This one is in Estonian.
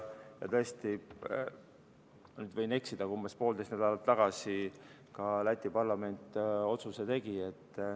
Ma võin nüüd eksida, aga umbes poolteist nädalat tagasi Läti parlament oma otsuse tegi.